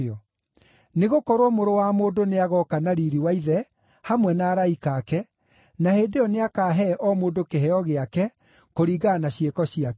Nĩgũkorwo Mũrũ wa Mũndũ nĩagooka na riiri wa Ithe hamwe na araika ake, na hĩndĩ ĩyo nĩakahe o mũndũ kĩheo gĩake kũringana na ciĩko ciake.